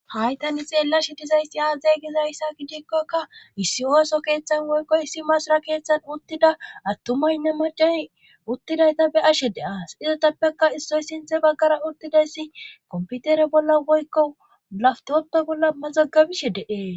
haytani xeellashi dizaysi aazey gizayssa gidikkoka issi ooso keeththan woykkoy issi masira keeththan uttida attumaynne macani uttidayta be ashe de7aas izetappekka issoy sinthe baggara uttidayssi komputere bolla woykko laftoppa bolla mazagabishe deee